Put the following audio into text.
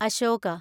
Ashoka